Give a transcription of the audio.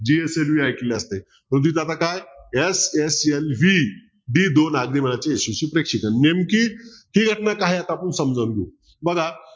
ऐकलं असेल आता काय SSLV ही दोन अग्निबाणाची यशस्वी प्रेक्षपण नेमकी ती आता काय ते आपण समजून घेऊ. बघा.